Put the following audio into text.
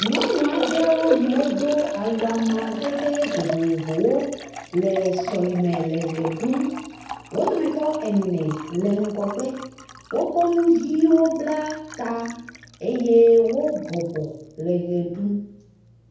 Nyɔnu aɖe yiwo do awu amadede vovovowo le sɔleme le ʋe ɖum, wo dometɔ ene le ŋgɔgbe wokɔ nu viwo bla ta eye wo bɔbɔ le ʋe ɖum